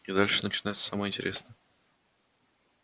и дальше начинается самое интересное